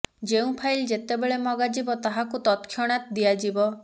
ଯେଉଁ ଫାଇଲ ଯେତେବେଳେ ମଗା ଯିବ ତାହାକୁ ତତ୍କକ୍ଷ୍ୟାଣତ ଦିଆଯିବ